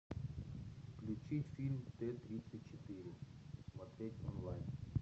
включи фильм т тридцать четыре смотреть онлайн